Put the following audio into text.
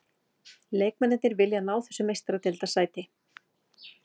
Leikmennirnir vilja ná þessu meistaradeildarsæti.